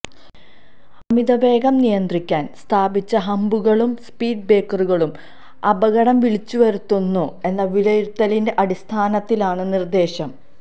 അമിതവേഗം നിയന്ത്രിക്കാൻ സ്ഥാപിച്ച ഹമ്പുകളും സ്പീഡ് ബ്രേക്കറുകളും അപകടം വിളിച്ചുവരുത്തുന്നു എന്ന വിലയിരുത്തലിന്റെ അടിസ്ഥാനത്തിലാണു നിർദേശം